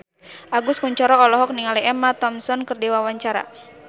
Agus Kuncoro olohok ningali Emma Thompson keur diwawancara